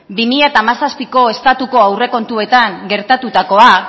bi mila hamazazpiko estatuko aurrekontuetan gertatutakoa